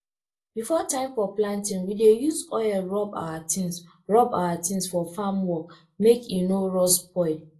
before time for planting we dey use oil rub our tins rub our tins for farm work make e no rust spoil